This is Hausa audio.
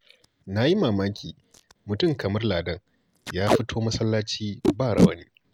Na yi mamaki mutum kamar Ladan ya fito masallaci ba rawani